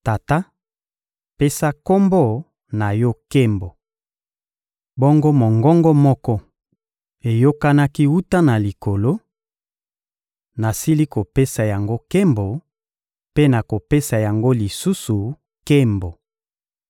Tata, pesa Kombo na Yo nkembo! Bongo mongongo moko eyokanaki wuta na Likolo: — Nasili kopesa yango nkembo mpe nakopesa yango lisusu nkembo!